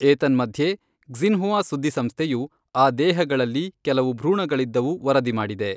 ಏತನ್ಮಧ್ಯೆ, ಕ್ಸಿನ್ಹುವಾ ಸುದ್ದಿ ಸಂಸ್ಥೆಯು, ಆ ದೇಹಗಳಲ್ಲಿ ಕೆಲವು ಭ್ರೂಣಗಳಿದ್ದವು ವರದಿ ಮಾಡಿದೆ.